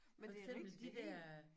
For eksempel de dér